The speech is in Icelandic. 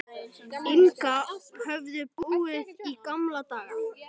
Inga höfðu búið í gamla daga.